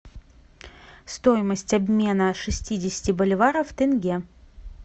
стоимость обмена шестидесяти боливаров в тенге